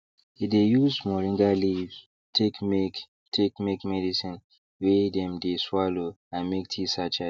he de use moringa leave take make take make medicine wey dem de swallow and make tea sachet